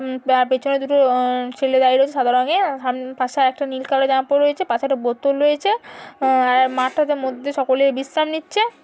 উম পা পেছনে দুটো অ্যাঁ ছেলে দাঁড়িয়ে রয়েছে সাদা রঙের। হাম পাশে আর একটা নীল কালার এর জামা পড়ে রয়েছে। পাশে একটা বোতল রয়েছে। অ্যাঁ মাঠটাতে মধ্যে সকলে বিশ্রাম নিচ্ছে।